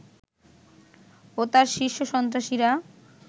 ও তার শীর্ষ সন্ত্রাসীরা